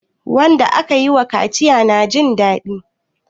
wanda aka yiwa kaciya yana Jin dadi